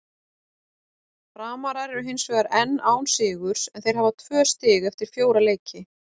Framarar eru hinsvegar enn án sigurs en þeir hafa tvö stig eftir fjóra leiki.